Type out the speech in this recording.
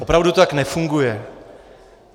Opravdu to tak nefunguje.